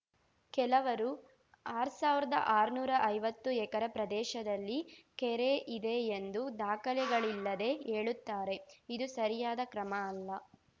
ಕೆಲವರು ಆರ್ಸಾವಿರ್ದಾ ಅರ್ನುರಾ ಐವತ್ತು ಎಕರೆ ಪ್ರದೇಶದಲ್ಲಿ ಕೆರೆ ಇದೆ ಎಂದು ದಾಖಲೆಗಳಿಲ್ಲದೆ ಹೇಳುತ್ತಾರೆ ಇದು ಸರಿಯಾದ ಕ್ರಮ ಅಲ್ಲ